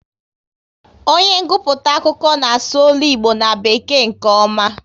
Onye nguputa akụkọ n'asu ọlụ Igbo na bekee nke ọma